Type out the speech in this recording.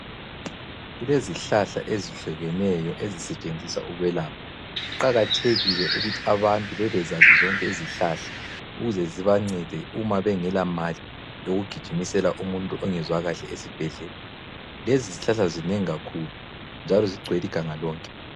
Kulezihlahla ezihlukeneyo ezisetshenziswa ukwelapha. Kuqakathekile ukuthi abantu bebezazi zonke izihlahla ukuze zibancede uma bengelamali yokugijimisela umuntu ongezwakahle esibhedlela. Lezi zihlahla zinengi kakhulu njalo zigcwele iganga lonke.